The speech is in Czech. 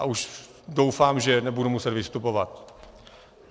A už doufám, že nebudu muset vystupovat.